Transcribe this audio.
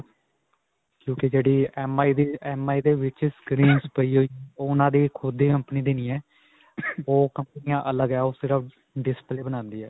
ਕਿਉਂਕਿ ਜਿਹੜੀ MI ਦੀ MI ਦੇ ਵਿੱਚ screens ਪਈ ਹੋਈ ਓਹ ਉਨ੍ਹਾਂ ਦੀ ਖੁੱਦ ਦੀ company ਦੀ ਨਹੀਂ ਹੈ. ਓਹ company ਅੱਲਗ ਹੈ. ਓਹ ਸਿਰਫ display ਬਣਾਉਂਦੀ ਹੈ.